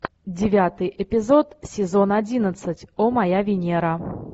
девятый эпизод сезон одиннадцать о моя венера